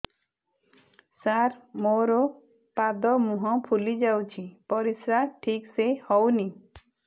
ସାର ମୋରୋ ପାଦ ମୁହଁ ଫୁଲିଯାଉଛି ପରିଶ୍ରା ଠିକ ସେ ହଉନି